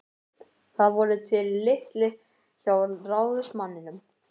Það voru til litir hjá ráðsmanninum.